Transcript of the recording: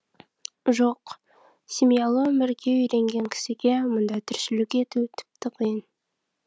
жоқ семьялы өмірге үйренген кісіге мұндай тіршілік ету тіпті қиын